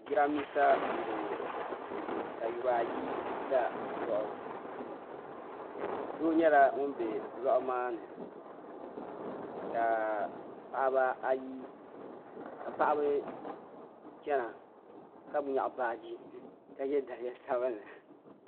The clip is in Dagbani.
Jiran bisa n bɔŋɔ. ka yura ayi ga lɔɣu. doo nyala ŋun be lɔɣu maani. ka paɣaba chana ka nyɛɣi baaji titali kabɔbi bɔbi sabinli